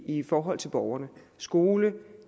i forhold til borgerne skole